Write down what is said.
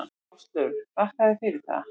Áslaug: Þakka þér fyrir það.